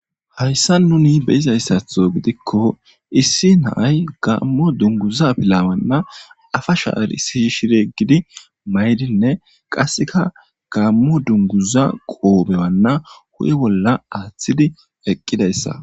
Hayissani nuni beyidayasatho gidiko issi na'ayi gammo afalana shara shiri yegidi mayinne gammo dunguza qobe huphe bolla athidi eqidayissa